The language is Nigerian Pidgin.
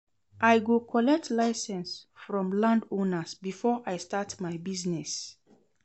I go collect license from landowners before I start my business.